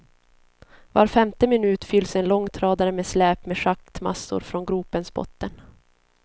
Var femte minut fylls en långtradare med släp med schaktmassor från gropens botten.